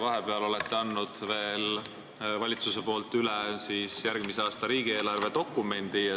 Vahepeal on valitsus andnud üle järgmise aasta riigieelarve dokumendi.